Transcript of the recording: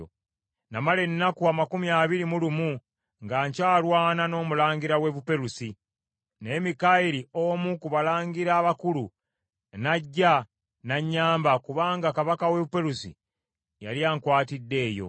Namala ennaku amakumi abiri mu lumu nga nkyalwana n’omulangira w’e Buperusi, naye Mikayiri omu ku balangira abakulu n’ajja n’annyamba, kubanga kabaka w’e Buperusi yali ankwatidde eyo.